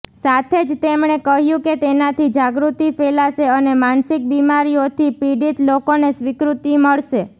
સાથે જ તેમણે કહ્યું કે તેનાથી જાગૃતિ ફેલાશે અને માનસિક બિમારીઓથી પીડિત લોકોને સ્વીકૃતિ મળશે